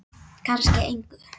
Kannski engu.